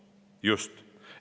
Just!